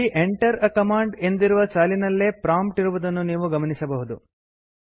ಇಲ್ಲಿ Enter a command ಎಂದಿರುವ ಸಾಲಿನಲ್ಲೇ ಪ್ರಾಂಪ್ಟ್ ಇರುವುದನ್ನು ನೀವು ಗಮನಿಸಬಹುದು